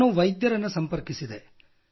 ನಾನು ವೈದ್ಯರನ್ನು ಸಂಪರ್ಕಿಸಿದೆ